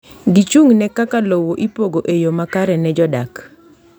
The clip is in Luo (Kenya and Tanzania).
Gichung’ ne kaka lowo ipogo e yo makare ne jodak.